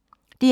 DR2